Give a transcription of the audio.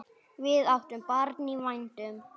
Við áttum barn í vændum.